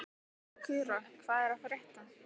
Sakura, hvað er að frétta?